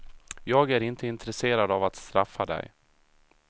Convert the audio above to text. Jag är inte intresserad av att straffa dig.